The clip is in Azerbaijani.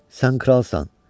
Sən kralsan.